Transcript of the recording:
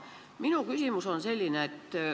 Minu küsimus on selline.